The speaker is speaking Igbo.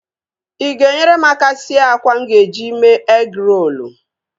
Ị ga-enyere m aka sie àkwá mụ ga-eji mee egịrolu?